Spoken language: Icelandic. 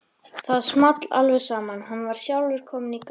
Það small alveg saman, hann var sjálfur kominn í gallann.